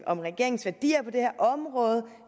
om regeringens værdier på det her område og